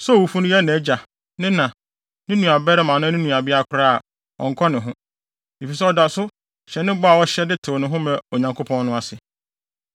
Sɛ owufo no yɛ nʼagya, ne na, ne nuabarima anaa ne nuabea koraa a, ɔnnkɔ ne ho, efisɛ ɔda so hyɛ ne bɔ a ɔhyɛ de tew ne ho maa Onyankopɔn no ase.